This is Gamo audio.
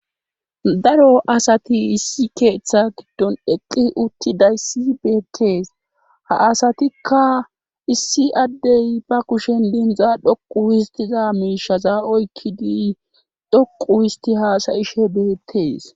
daro asati issi keeththa giddon eqqi utti dayssi beettees ha asatikka issi addey ba kushen lindza dhoqu histiza miishaza oykkidi dhoqu histi haasayishe beettees